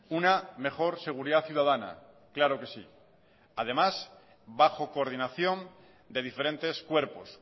una mejor seguridad ciudadana claro que sí además bajo coordinación de diferentes cuerpos